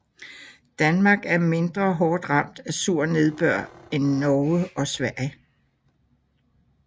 Danmark er mindre hårdt ramt af sur nedbør end Norge og Sverige